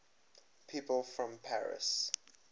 people from paris